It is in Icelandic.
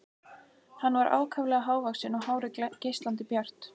Hann var ákaflega hávaxinn og hárið geislandi bjart.